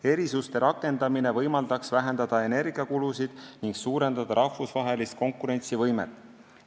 Erisuste rakendamine võimaldaks vähendada energiakulusid ja suurendada rahvusvahelist konkurentsivõimet.